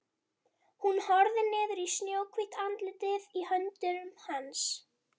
Hún horfir niður í snjóhvítt andlitið í höndum hans.